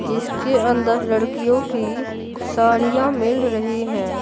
जिसके अंदर लड़कियों की साड़ियां मिल रही हैं।